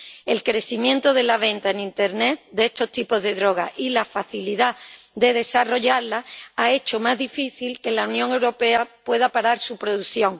El crecimiento de la venta en Internet de estos tipos de droga y la facilidad de elaborarlas han hecho más difícil que la Unión Europea pueda parar su producción.